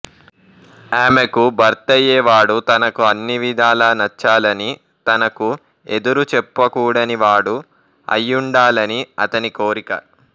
ఆమెకు భర్తయ్యే వాడు తనకు అన్ని విధాలా నచ్చాలనీ తనకు ఎదురు చెప్పకూడని వాడు అయ్యుండాలని అతని కోరిక